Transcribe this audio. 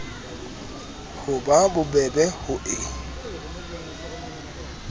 ho ba bobebe ho e